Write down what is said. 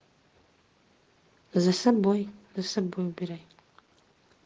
за собой за собой убирай